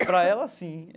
Para ela, sim.